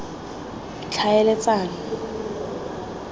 tlhaeletsano